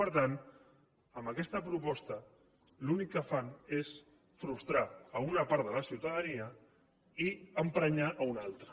per tant amb aquesta proposta l’únic que fan és frustrar una part de la ciutadania i emprenyar ne una altra